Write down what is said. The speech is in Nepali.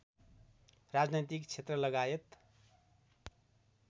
राजनैतिक क्षेत्रलगायत